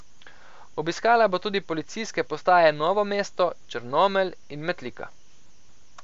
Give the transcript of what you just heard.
Obiskala bo tudi policijske postaje Novo mesto, Črnomelj in Metlika.